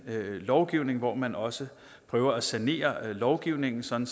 lovgivningen hvor man også prøver at sanere lovgivningen sådan